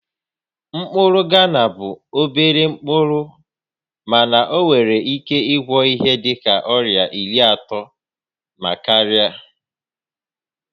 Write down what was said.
Mkpụrụ Ghana bụ obere mkpụrụ mana ọ nwere ike ịgwọ ihe dịka ọrịa iri atọ na karịa